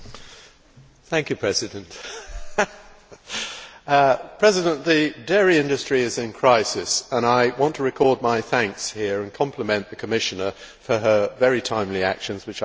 Mr President, the dairy industry is in crisis, and I want to record my thanks here and compliment the Commissioner on her very timely actions, which I think were precisely right.